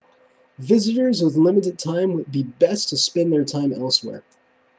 visitors with limited time would be best to spend their time elsewhere